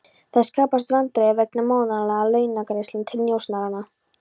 Það skapast vandræði vegna mánaðarlegra launagreiðslna til njósnaranna.